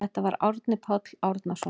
Þetta var Árni Páll Árnason.